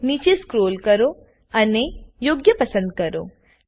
નીચે સ્કોલ કો અને યોગ્ય પસંદ કરો